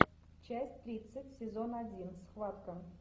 часть тридцать сезон один схватка